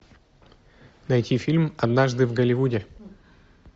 найти фильм однажды в голливуде